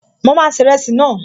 Mo máa se ìrẹsì náà